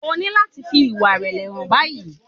O ní láti fi ìwà ìrèlè hàn báyìí.